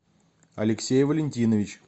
алексей валентинович